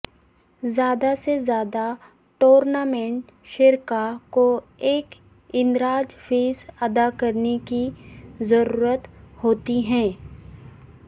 زیادہ سے زیادہ ٹورنامنٹ شرکاء کو ایک اندراج فیس ادا کرنے کی ضرورت ہوتی ہے